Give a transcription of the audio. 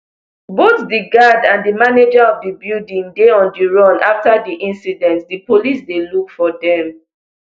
both di guard and di manager of di building dey on di run afta di incident di police dey look for dem